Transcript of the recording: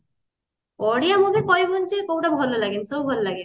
ବଢିଆ movie କହିବୁନି ଯେ କଉଟା ଭଲଲାଗେନି ସବୁ ଭଲ ଲାଗେ